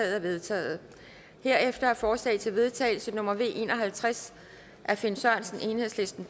er vedtaget herefter er forslag til vedtagelse nummer v en og halvtreds af finn sørensen